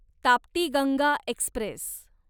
Tapti Ganga Express